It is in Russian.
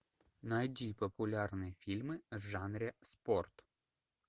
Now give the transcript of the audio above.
найди популярные фильмы в жанре спорт